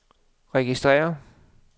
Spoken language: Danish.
registrér